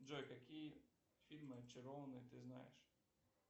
джой какие фильмы очарованные ты знаешь